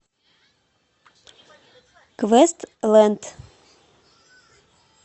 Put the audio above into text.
квестленд